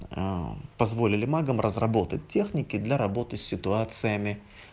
аа ээ позволили магам разработать техники для работы с ситуациями